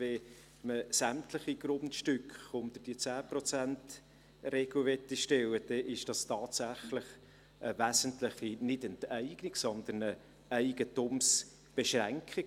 Wenn man sämtliche Grundstücke unter diese 10-Prozent-Regel stellen will, dann ist das tatsächlich eine wesentliche – nicht Enteignung – Eigentumsbeschränkung.